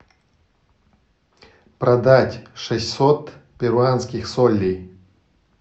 продать шестьсот перуанских солей